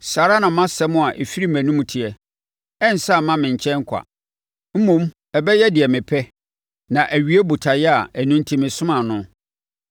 Saa ara na mʼasɛm a ɛfiri mʼanum teɛ: Ɛrensane mma me nkyɛn kwa. Mmom ɛbɛyɛ deɛ mepɛ na awie botaeɛ a ɛno enti mesomaa no.